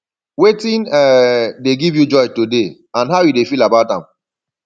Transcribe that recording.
wetin um dey give you joy today and how you dey feel about am